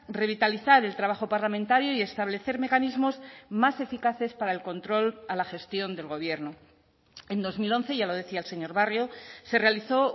revitalizar el trabajo parlamentario y establecer mecanismos más eficaces para el control a la gestión del gobierno en dos mil once ya lo decía el señor barrio se realizó